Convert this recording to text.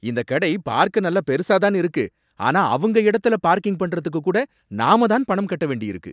இந்தக் கடை பார்க்க நல்லா பெருசா தான் இருக்கு, ஆனா அவங்க இடத்துல பார்க்கிங் பண்றதுக்கு கூட நாம் தான் பணம் கட்ட வேண்டியிருக்கு!